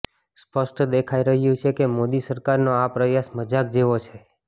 સ્પષ્ટ દેખાઇ રહ્યું છે કે મોદી સરકારનો આ પ્રયાસ મજાક જેવો છે